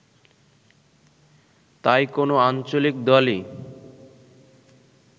তাই কোনও আঞ্চলিক দলই